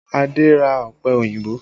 Adé ra ọpẹ òyìnbó